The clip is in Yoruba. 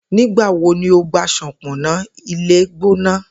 Nigbawo ni o gba ṣọpọnna ilegbona?